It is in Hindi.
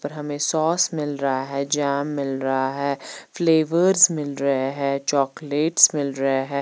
पर हमें सॉस मिल रहा है जैम मिल रहा है फ्लेवर्स मिल रहे है चॉकलेट्स मिल रहे हैं।